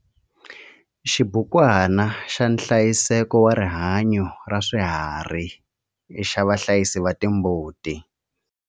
Xibukwana xa nhlayiseko wa rihanyo ra swiharhi xa vahlayisi va timbuti.